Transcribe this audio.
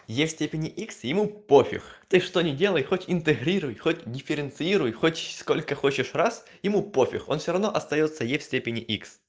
е в степени икс ему пофиг ты что не делай хоть интегрируй хоть дифференцируй хоть сколько хочешь раз ему пофиг он все равно остаётся е в степени икс